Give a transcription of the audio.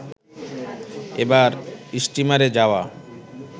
এবার স্টিমারে যাওয়া